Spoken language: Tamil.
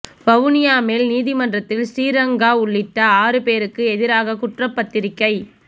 வவுனியா மேல் நீதிமன்றத்தில் ஶ்ரீ ரங்கா உள்ளிட்ட ஆறுபேருக்கு ஏதிராக குற்றப்பத்திரிகை